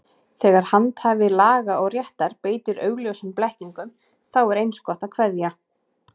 Þegar handhafi laga og réttar beitir augljósum blekkingum, þá er eins gott að kveðja.